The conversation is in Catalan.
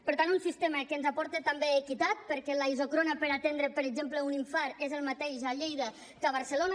per tant un sistema que ens aporta també equitat perquè la isòcrona per atendre per exemple un infart és la mateixa a lleida que a barcelona